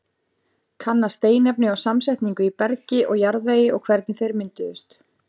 Kanna steinefni og samsetningu í bergi og jarðvegi og hvernig þeir mynduðust.